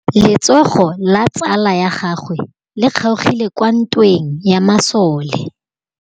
Letsôgô la tsala ya gagwe le kgaogile kwa ntweng ya masole.